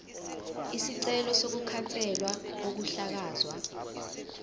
isicelo sokukhanselwa kokuhlakazwa